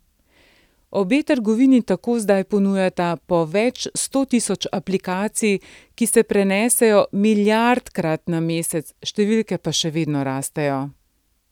Obe trgovini tako zdaj ponujata po več sto tisoč aplikacij, ki se prenesejo milijardkrat na mesec, številke pa še vedno rastejo.